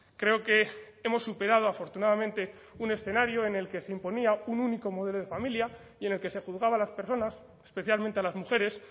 creo que hemos superado afortunadamente un escenario en el que se imponía un único modelo de familia y en el que se juzgaba a las personas especialmente a las mujeres